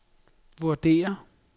vurderer